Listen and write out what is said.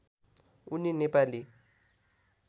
उनी नेपाली